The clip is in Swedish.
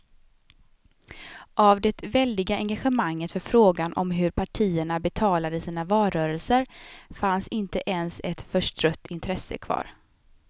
Av det väldiga engagemanget för frågan om hur partierna betalade sina valrörelser fanns inte ens ett förstrött intresse kvar.